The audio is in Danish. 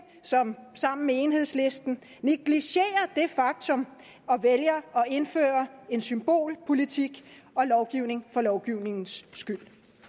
sammen med enhedslisten negliger det faktum og vælger at indføre en symbolpolitik og lovgivning for lovgivningens skyld